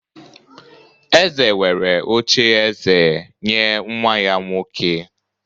eze were oche-eze nye nwa-ya nwoke